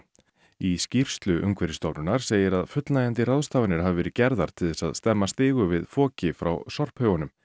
í skýrslu Umhverfisstofnunar segir að fullnægjandi ráðstafanir hafi verið gerðar til þess stemma stigu við foki frá sorphaugunum